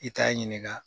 I t'a ɲininka